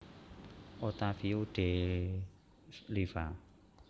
Ottavio De Liva